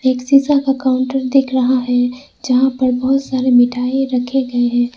एक शीशा का काउंटर दिख रहा है जहां पर बहुत सारे मिठाई रखे गए हैं।